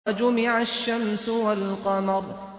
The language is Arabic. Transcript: وَجُمِعَ الشَّمْسُ وَالْقَمَرُ